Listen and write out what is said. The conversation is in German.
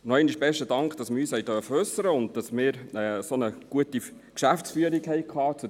Noch einmal besten Dank, dass wir uns äussern durften und dass wir zu diesem Thema eine solch gute Geschäftsführung hatten;